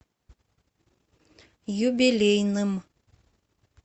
юбилейным